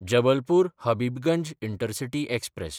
जबलपूर–हबिबगंज intercity express